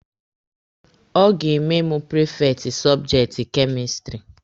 Ọ ga-eme mụ prifekti sọbjekti kemistiri.